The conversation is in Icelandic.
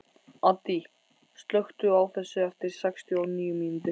Addý, slökktu á þessu eftir sextíu og níu mínútur.